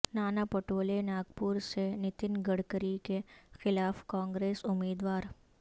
ناناپٹولے ناگپور سے نتن گڈکری کے خلاف کانگریس امیدوار